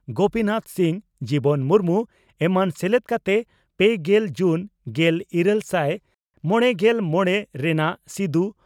ᱜᱚᱯᱤ ᱱᱟᱛᱷ ᱥᱤᱝ ᱡᱤᱵᱚᱱ ᱢᱩᱨᱢᱩ ᱮᱢᱟᱱ ᱥᱮᱞᱮᱫ ᱠᱟᱛᱮ ᱯᱮᱜᱮᱞ ᱡᱩᱱ ᱜᱮᱞᱤᱨᱟᱞ ᱥᱟᱭ ᱢᱚᱲᱮᱜᱮᱞ ᱢᱚᱲᱮ ᱨᱮᱱᱟᱜ ᱥᱤᱫᱚ